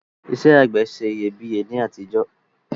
Isẹ́ àgbẹ̀ se iyebíye ni àtijọ́